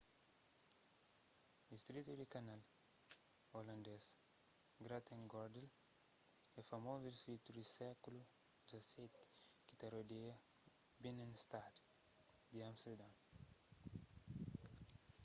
distritu di kanal holandês : grachtengordel é famozu distritu di sékulu xvii ki ta rodeia binnenstad di amesterdon